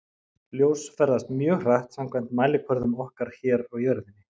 Ljós ferðast mjög hratt samkvæmt mælikvörðum okkar hér á jörðinni.